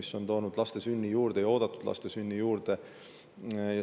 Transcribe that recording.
See on toonud oodatud laste sünde juurde.